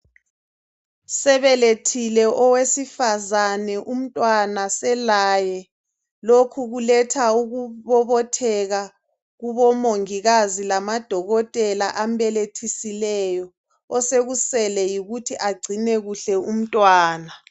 Sebelethile owesifazane umntwana selaye lokhu kuletha ukubobotheka kubo mongikazi lamadokotela ambelethisileyo, osekusele yikuthi agcine kuhle umntwana.